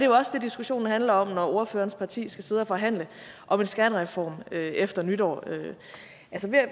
også det diskussionen handler om når ordførerens parti skal sidde og forhandle om en skattereform efter nytår jeg